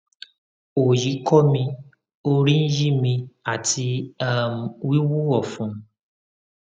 oyi ko mi orí ń yí mi àti um wíwú ọfun